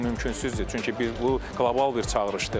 Bu mümkünsüzdür, çünki bu qlobal bir çağırışdır.